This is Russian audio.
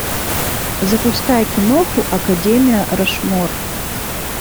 запускай киноху академия рашмор